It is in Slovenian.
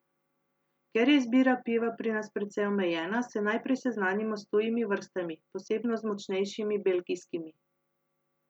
Ker je izbira piva pri nas precej omejena, se najprej seznanimo s tujimi vrstami, posebno z močnejšimi belgijskimi.